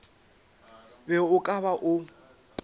be o ka ba o